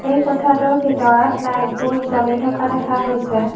এই কোঠাটোৰ ভিতৰত লাইটবোৰ জ্বলি থকা দেখা গৈছে।